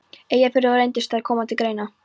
Eyjafjarðar, og reyndust þær koma til greina.